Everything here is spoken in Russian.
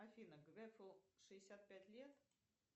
афина грефу шестьдесят пять лет